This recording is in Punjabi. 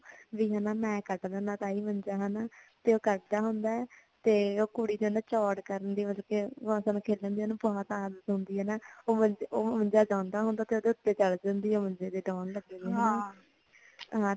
ਮੈ ਕਟ ਦੇਣਾ ਤਾਈਂ ਮੰਜਾ ਹੁਣ ਤੇ ਓ ਕੱਟਦਾ ਹੁੰਦਾ ਹੈ ਤੇ ਓ ਕੁੜੀ ਚੋੜ ਕਰਦੀ ਮਤਲਬ ਕੇ ਜਮਾ ਤਾੜ ਦੇਂਦੀ ਹੈ ਹੈ ਨਾ ਓ ਮੰਜਾ ਡਾਉਂਦਾ ਹੁੰਦਾ ਹੈ ਤੇ ਓਦੇ ਉਤੇ ਚੜ ਜਾਂਦੀ ਹੈ ਮੰਜੇ ਦੇ ਦੋਨਲਗੇ ਹੁੰਦੇ ਨੇ